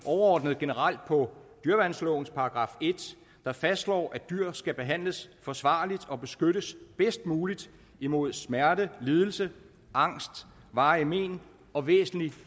overordnet og generelt på dyreværnslovens § en der fastslår at dyr skal behandles forsvarligt og beskyttes bedst muligt imod smerte lidelse angst varige mén og væsentlig